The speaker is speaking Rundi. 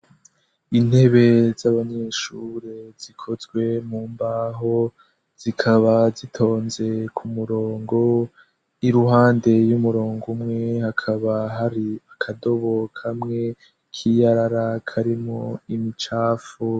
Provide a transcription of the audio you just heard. intebe z'abanyeshure zikozwe mu mbaho zikaba zitonze ku murongo iruhande y'umurongo umwe hakaba hari akadobo kamwe k'iyarara karimu imicafu